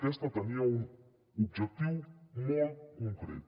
aquesta tenia un objectiu molt concret